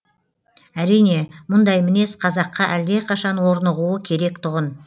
әрине мұндай мінез қазаққа әлдеқашан орнығуы керек тұғын